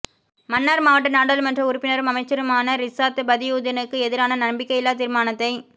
மன்னார் மாவட்ட நாடாளுமன்ற உறுப்பினரும் அமைச்சருமான றிசாத் பதியுதீனுக்கு எதிரான நம்பிக்கையில்லாத் தீர்மானத்தை